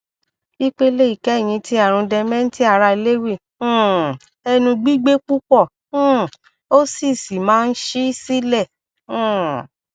ipele ikẹhin ti arun dementia ara lewy um ẹnu gbigbe pupọ um o si si maa n ṣii silẹ um